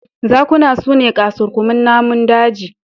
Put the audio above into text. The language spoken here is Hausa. Zakuna su ne ƙasurguman namun daji.